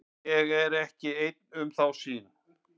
Ég er ekki einn um þá sýn.